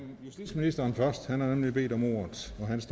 justitsministeren først han har nemlig bedt om ordet